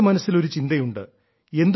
എന്റെ മനസ്സിൽ ഒരു ചിന്തയുണ്ട്